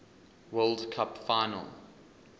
world cup final